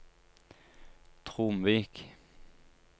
Tromvik